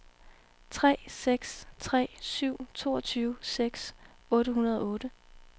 tre seks tre syv toogtyve seks hundrede og otte